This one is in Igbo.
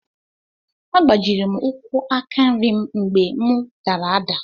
A gbajiri m ụkwú aka nri m mgbe mụ dara ada.